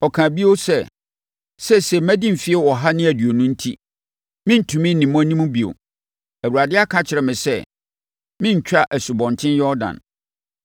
ɔkaa bio sɛ, “Seesei madi mfeɛ ɔha ne aduonu enti, merentumi nni mo anim bio. Awurade aka akyerɛ me sɛ merentwa Asubɔnten Yordan.